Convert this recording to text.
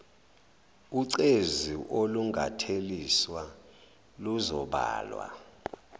ucezu olungatheliswa luzobalwa